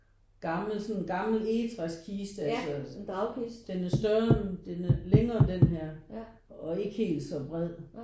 Gammel sådan en gammel egetræskiste altså den er større den er længere end denne her og ikke helt så bred